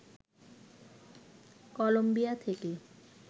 Colombia থেকে